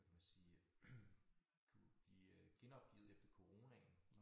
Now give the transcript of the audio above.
Hvad kan man sige øh kunnet blive øh genoplivet efter coronaen